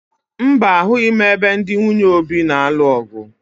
Mba, ahụghị m ebe ndị nwunye Obi na-alụ ọ̀gụ̀